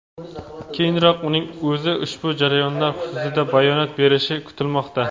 Keyinroq uning o‘zi ushbu jarayonlar xususida bayonot berishi kutilmoqda.